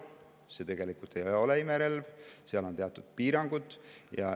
See tegelikult ei ole imerelv, seal on teatud piirangud.